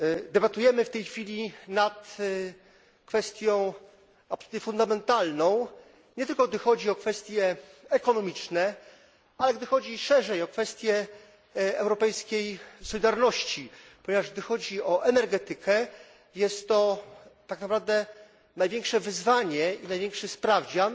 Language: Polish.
Debatujemy w tej chwili nad kwestią absolutnie fundamentalną, nie tylko gdy chodzi o kwestie ekonomiczne, ale gdy chodzi szerzej o kwestię europejskiej solidarności, ponieważ, gdy chodzi o energetykę, jest to tak naprawdę największe wyzwanie i największy sprawdzian,